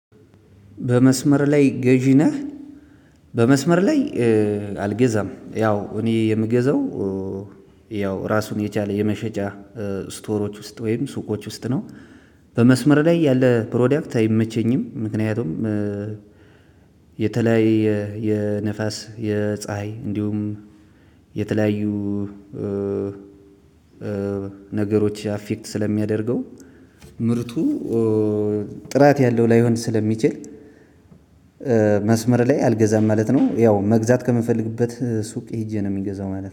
በመስመር ላይ ገዢ ነህ? በመስመር ላይ አልገዛም ያው እኔ የምገዘው ያው ራሱን የቻለ የመሸጫ ስቶሮች ውስጥ ወይም ሱቆች ውስጥ ነው። በመስመር ላይ ያለ ፕሮዳክት አይመቸኝም ምክንያቱም። የተለያየ የነፋስ የፀሀይ እንዲሁም የተለያዩ ነገሮች አፌክት ስለሚያደርገው ምርቱ ጥራት ያለው ላይሆን ስለሚችል። መስመር ላይ አልገዛም ማለት ነው። ያው መግዛት ከምፈልግበት ሱቅ ሄጄ ነው የሚገዛው ማለት ነው